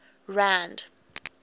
rand